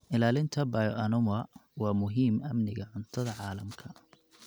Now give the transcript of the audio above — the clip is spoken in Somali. Ilaalinta bioanuwa waa muhiim amniga cuntada caalamka.